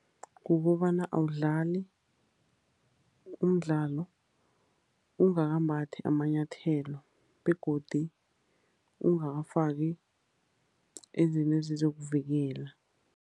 Kukobana awudlali umdlalo ungakambathi amanyathelo, begodu ungakafaki izinto ezizokuvikela.